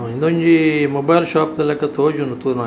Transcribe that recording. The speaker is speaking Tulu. ಉಂದೊಂಜಿ ಮೊಬೈಲ್ ಶೋಪ್ ದ ಲೆಕ ತೋಜುಂಡು ತೂನ --